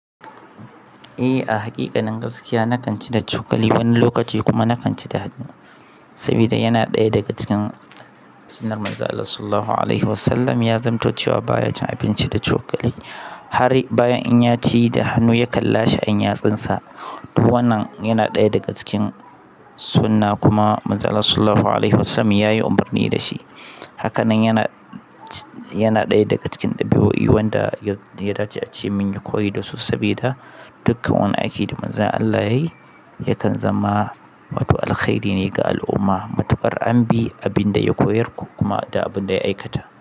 Eh a haƙiƙanin gaskiya na kan ci da cokali wani lokaci kuma na kan ci da hannu. Saboda yana ɗaya daga cikin sunnar Manzon Allah Sallallahu Alaihi Wasallam ya zamto cewa baya cin abinci da cokali har bayan in ya ci da hannu ya kan lashe yantsun sa to wannan yana ɗaya daga cikin sunnah kuma Manzon Allah Sallallahu Alaihi Wasallam yayi umarni da shi. Hakanan yana, yana ɗaya daga cikin dabi'o'i wanda ya dace a ce mun yi koyo da su saboda dukkan wani aiki da Manzon Allah yayi ya kan zama wato alkhairi ne ga al'umma. Matuƙar an bi abin da ya koyar ko kuma da abin da ya aikata.